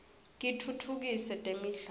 kitfutfukise temidlalo